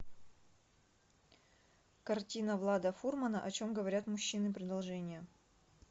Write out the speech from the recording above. картина влада фурмана о чем говорят мужчины продолжение